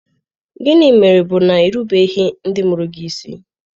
Gịnị mere bụ na i rubeghị ndị mụrụ gị isi.